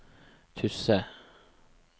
Tysse